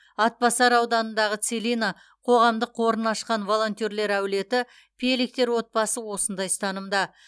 атбасар ауданындағы целина қоғамдық қорын ашқан волонтерлер әулеті пелихтер отбасы осындай ұстанымда